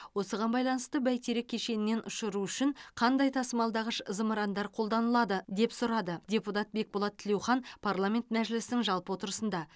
осыған байланысты бәйтерек кешенінен ұшыру үшін қандай тасымалдағыш зымырандар қолданылады деп сұрады депутат бекболат тілеухан парламент мәжілісінің жалпы отырысында